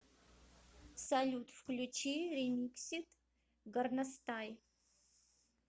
салют включи ремиксед горностай